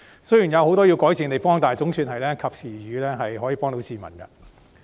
雖然有很多需要改善的地方，但總算是及時雨，可以幫助市民。